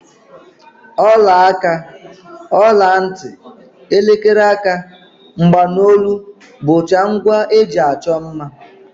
Ọlaaka, ọlantị, elekere aka, mgbanolu bụcha ngwa e ji achọ mma